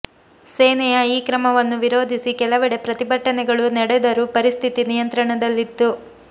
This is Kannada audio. ಸೇನೆಯ ಈ ಕ್ರಮವನ್ನು ವಿರೋಧಿಸಿ ಕೆಲವೆಡೆ ಪ್ರತಿಭಟನೆಗಳು ನಡೆದರು ಪರಿಸ್ಥಿತಿ ನಿಯಂತ್ರಣದಲ್ಲಿತ್ತು